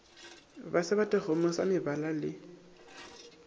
ba sebatakgomo sa mabala le